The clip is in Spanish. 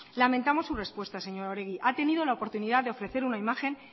lamentamos su respuesta señora oregi ha tenido la oportunidad de ofrecer una imagen